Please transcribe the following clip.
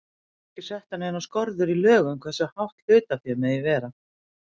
Því eru ekki settar neinar skorður í lögum hversu hátt hlutaféð megi vera.